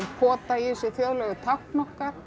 pota í þessu þjóðlegu tákn okkar